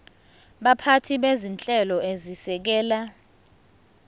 baphathi bezinhlelo ezisekela